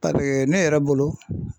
Paseke ne yɛrɛ bolo